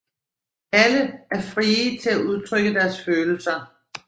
Alle er frie til at udtrykke deres følelser